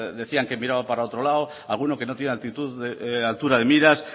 decían que miraba para otro lado alguno que no tiene altura de miras